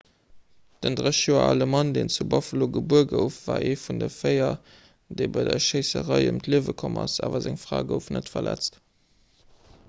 den 30 joer ale mann deen zu buffalo gebuer gouf war ee vun de véier déi bei der schéisserei ëm d'liewe komm sinn awer seng fra gouf net verletzt